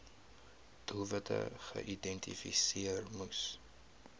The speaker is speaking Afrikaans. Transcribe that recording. doelwitte geïdentifiseer moes